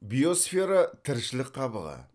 биосфера тіршілік қабығы